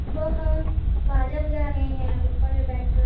वह बाजा बजा रहें है ऊपर में बैठ कर--